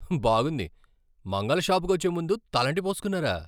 బాగుంది! మంగలి షాప్కి వచ్చే ముందు తలంటి పోస్కున్నారా?